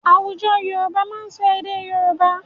Àwùjọ Yorùbá máa sọ èdè Yorùbá.